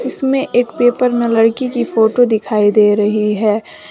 इसमें एक पेपर में लड़की की फोटो दिखाई दे रही है।